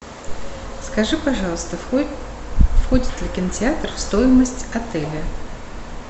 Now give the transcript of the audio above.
скажи пожалуйста входит ли кинотеатр в стоимость отеля